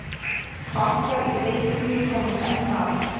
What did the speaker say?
Fálkar í steypiflugi komast enn hraðar.